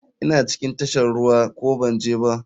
Ina cikin tashar ruwa ko banje ba?